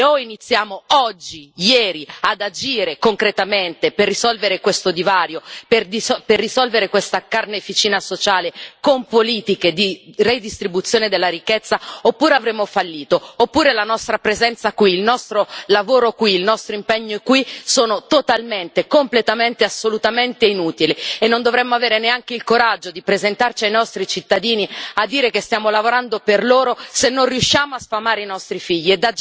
O iniziamo oggi, ieri, ad agire concretamente per risolvere questo divario, per risolvere questa carneficina sociale con politiche di redistribuzione della ricchezza, oppure avremo fallito, oppure la nostra presenza qui, il nostro lavoro qui, il nostro impegno qui sono totalmente, completamente e assolutamente inutili e non dovremmo avere neanche il coraggio di presentarci ai nostri cittadini a dire che stiamo lavorando per loro se non riusciamo a sfamare i nostri figli.